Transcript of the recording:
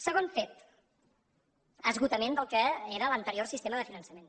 segon fet esgotament del que era l’anterior sistema de finançament